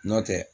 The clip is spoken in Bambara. N'o tɛ